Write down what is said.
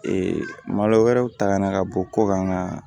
malo wɛrɛw ta ka na ka bɔ kɔkan ka